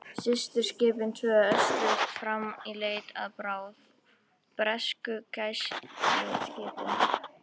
Systurskipin tvö ösluðu áfram í leit að bráð, bresku gæsluskipi.